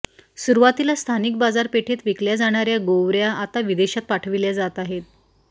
सुरुवातीला स्थानिक बाजारपेठेत विकल्या जाणार्या गोवर्या आता विदेशात पाठविल्या जात आहेत